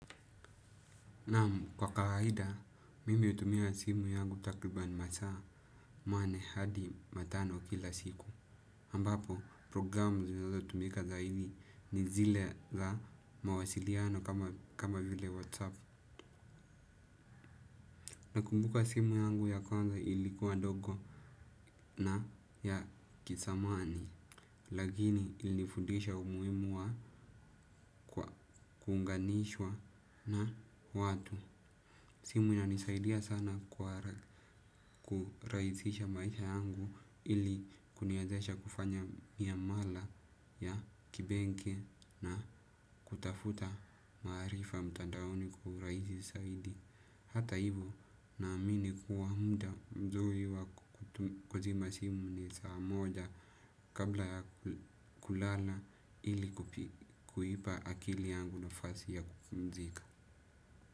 Naam kwa kawaida, mimi hutumia simu yangu takribani masaa, manne hadi matano kila siku. Ambapo, programu zinazo tumika zaidi ni zile za mawasiliano kama vile whatsapp. Nakumbuka simu yangu ya kwanza ilikuwa ndogo na ya kizamani, lakini ilifundisha umuhimu wa kuunganishwa na watu. Simu ina nisaidia sana kurahisisha maisha yangu ili kuniwezesha kufanya miamala ya kibenki na kutafuta maarifa mtandaoni kwa urahisi zaidi. Hata hivo naamini kuwa muda mzuri wa kuzima simu ni saa moja kabla ya kulala ili kuipa akili yangu nafasi ya kupumzika.